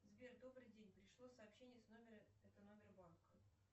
сбер добрый день пришло сообщения с номера это номер банка